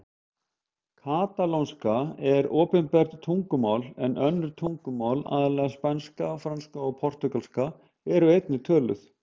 Katalónska er opinbert tungumál en önnur tungumál, aðallega spænska, franska og portúgalska, eru einnig töluð.